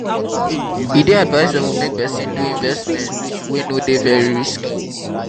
e dey advisable make person do investment wey no dey very risky